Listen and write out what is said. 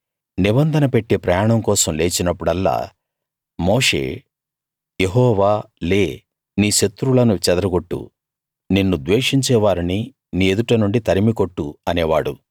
నిబంధన పెట్టె ప్రయాణం కోసం లేచినప్పుడల్లా మోషే యెహోవా లే నీ శత్రువులను చెదరగొట్టు నిన్ను ద్వేషించే వారిని నీ ఎదుటనుండి తరిమి కొట్టు అనేవాడు